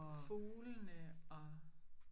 Fuglene og